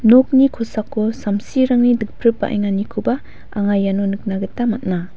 nokni kosako samsirangni dikpripbaenganikoba anga iano nikna gita man·a.